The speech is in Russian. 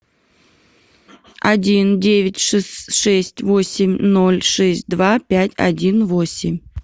один девять шесть восемь ноль шесть два пять один восемь